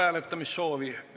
Hääletamissoovi ei ole.